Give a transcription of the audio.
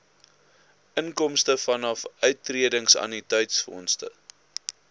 inkomste vanaf uittredingannuïteitsfondse